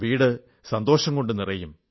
വീട് സന്തോഷം കൊണ്ടു നിറയും